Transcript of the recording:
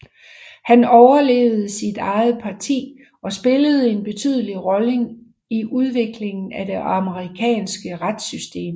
Han overlevede sit eget parti og spillede en betydelig rolle i udviklingen af det amerikanske retssystem